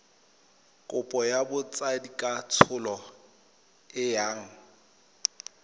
kopo ya botsadikatsholo e yang